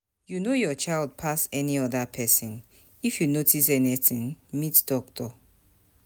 You know your child pass any oda person, if you notice anything meet doctor